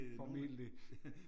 Formentlig